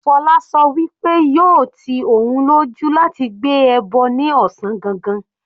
Fola sọ pé yóò ti òun lójú láti gbé ẹbọ ní ọ̀sán gangan.